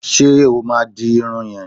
Ṣé o máa di irun yẹn?